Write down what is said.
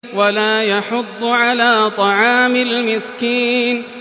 وَلَا يَحُضُّ عَلَىٰ طَعَامِ الْمِسْكِينِ